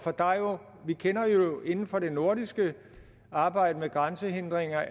inden for det nordiske arbejde med grænsehindringer